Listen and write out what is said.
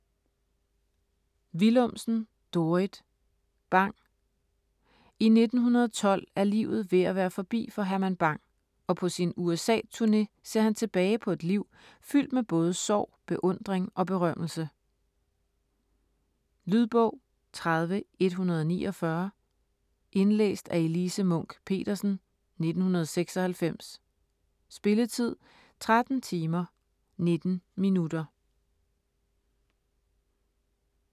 Willumsen, Dorrit: Bang I 1912 er livet ved at være forbi for Herman Bang, og på sin USA-turne ser han tilbage på et liv fyldt med både sorg, beundring og berømmelse. Lydbog 30149 Indlæst af Elise Munch-Petersen, 1996. Spilletid: 13 timer, 19 minutter.